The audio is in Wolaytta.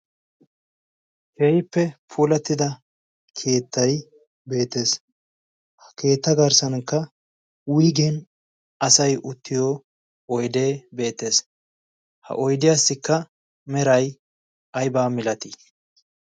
keehippe puulattida keettai beetees ha keetta garssankka wigen asay uttiyo oydee beetees ha oydiyaassikka meray aybaa milatii